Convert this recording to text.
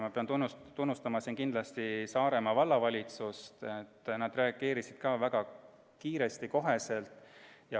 Ma pean siin kindlasti tunnustama Saaremaa vallavalitsust, et nad reageerisid väga kiiresti, koheselt.